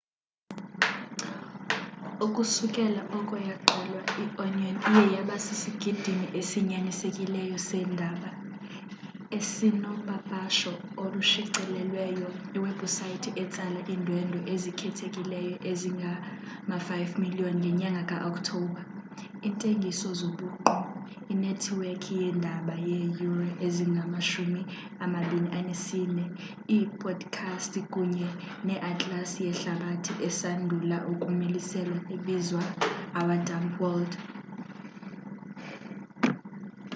ukusukela oko yaqalwa i-onion iye yaba sisigidimi esinyanisekileyo seendaba esinopapasho olushicilelweyo iwebhusayithi etsala iindwendwe ezikhethekileyo ezingama-5,000,000 ngenyanga ka-okthobha iintengiso zobuqu inethiwekhi yeendaba yeeyure ezingama-24 iipodikhasti kunye neatlasi yehlabathi esandula ukumiliselwa ebizwa our dumb world